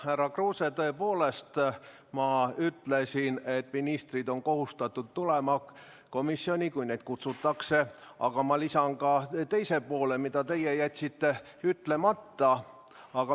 Härra Kruuse, tõepoolest ma ütlesin, et ministrid on kohustatud tulema komisjoni, kui neid kutsutakse, aga ma lisan ka teise poole, mille teie jätsite ütlemata.